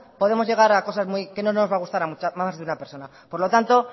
podemos llegar a cosas que no nos va a gustar a más de una persona por lo tanto